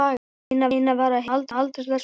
Lena var heima aldrei þessu vant.